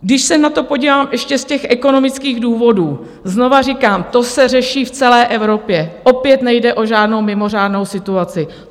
Když se na to podívám ještě z těch ekonomických důvodů, znovu říkám, to se řeší v celé Evropě, opět nejde o žádnou mimořádnou situaci.